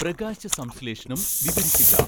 പ്രകാശസംശ്ലേഷണം വിവരിക്കുക